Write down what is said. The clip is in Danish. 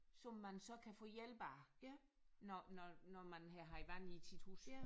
Som man så kan få hjælp af når når når man havde haft vand i sit hus